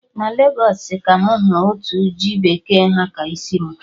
Na obodo Legos ka mụ hụrụ otu ji bekee ha ka isi mụ